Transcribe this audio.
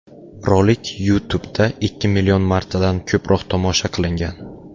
Rolik YouTube’da ikki million martadan ko‘proq tomosha qilingan .